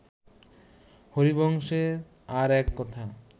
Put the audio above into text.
হরিবংশে আর এক কথা